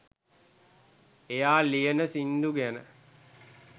එයා ලියන සින්දු ගැන